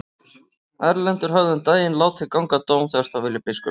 Erlendur hafði um daginn látið ganga dóm þvert á vilja biskups.